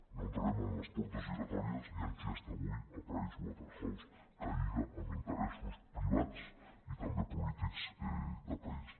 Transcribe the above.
no entrarem en les portes giratòries ni en qui està avui a pricewaterhouse que lliga amb interessos privats i també polítics del país